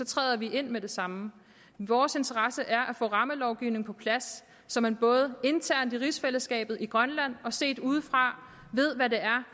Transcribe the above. træder vi ind med det samme vores interesse er at få rammelovgivningen på plads så man både internt i rigsfællesskabet i grønland og set udefra ved hvad